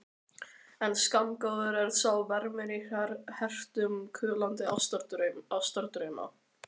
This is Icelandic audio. En skammgóður er sá vermir í hretum kulnandi ástardrauma.